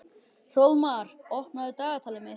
Hróðmar, opnaðu dagatalið mitt.